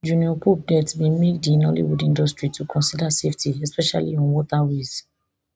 junior pope death bin make di nollywood industry to consider safety especially on waterways